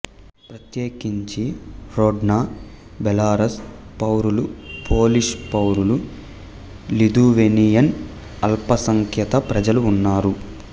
ప్రత్యేకించి Hrodna Belarus పౌరులు Polish పౌరులు లిథువేనియన్ అల్పసంఖ్యాక ప్రజలు ఉన్నారు